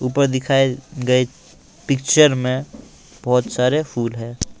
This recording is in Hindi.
ऊपर दिखाए गए पिक्चर में बहुत सारे फूल हैं।